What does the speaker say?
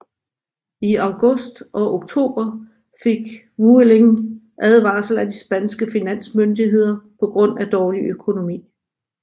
I august og oktober fik Vueling advarsler af de spanske finansmyndigheder på grund af dårlig økonomi